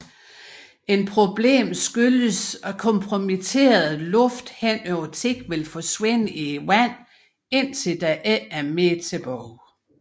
Et problem skyldes at komprimeret luft henover tid vil forsvinde i vandet indtil der ikke er mere tilbage